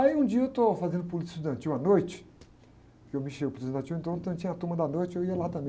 Aí um dia eu estou fazendo Política Estudantil à noite, porque eu me enchei do Política Estudantil, então tinha a turma da noite, eu ia lá também, né?